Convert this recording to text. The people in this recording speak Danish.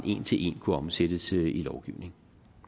en til en kunne omsættes i lovgivning